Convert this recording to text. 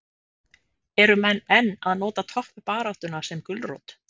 Eru menn enn að nota toppbaráttuna sem gulrót?